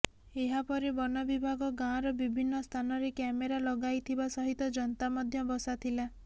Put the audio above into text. ଏହା ପରେ ବନ ବିଭାଗ ଗାଁର ବିଭିନ୍ନ ସ୍ଥାନରେ କ୍ୟାମେରା ଲଗାଇଥିବା ସହିତ ଯନ୍ତା ମଧ୍ୟ ବସାଥିଲା